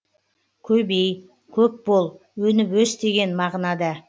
көбеи көп бол өніп өс деген мағынада